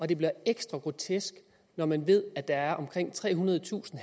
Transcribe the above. det bliver ekstra grotesk når man ved at der er omkring trehundredetusind